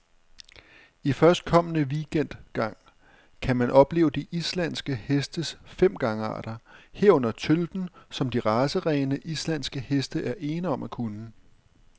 I førstkommende weekend gang kan man opleve de islandske hestes fem gangarter, herunder tølten, som de racerene, islandske heste er ene om at kunne.